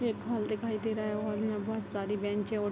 एक हॉल दिखाई दे रहा है हॉल में बहुत सारी बेंचे हैं और --